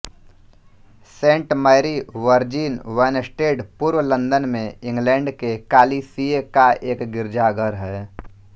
Saint Mary Virgin Wanstead पूर्व London में England के कालीसिए का एक गिरजाघर है